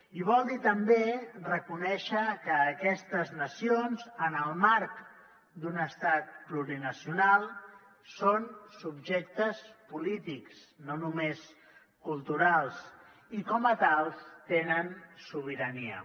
i vol dir també reconèixer que aquestes nacions en el marc d’un estat plurinacional són subjectes polítics no només culturals i com a tals tenen sobirania